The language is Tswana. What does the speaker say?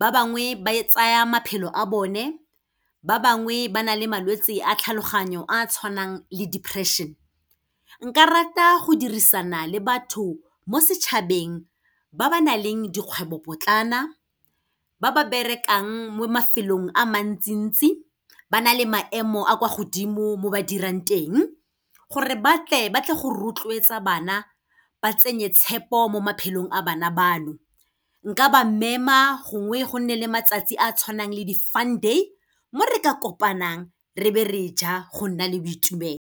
ba bangwe ba e tsaya maphelo a bone, ba bangwe ba na le malwetse a tlhaloganyo a a tshwanang le depression. Nka rata go dirisana le batho mo setšhabeng ba ba nang le dikgwebopotlana, ba ba berekang mo mafelong a mantsi-ntsi, ba na le maemo a kwa godimo mo ba dirang teng. Gore batle ba tle go rotloetsa bana, ba tsenye tshepo mo maphelong a bana bano. Nka ba mema, gongwe go nne le matsatsi a a tshwanang le di-fun day, mo re ka kopanang re be re ja go nna le boitumelo.